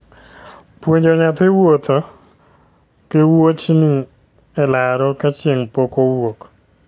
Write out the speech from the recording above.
Puonjo nyathi wuotho gi wuochni e laro ka chieng' pok owuok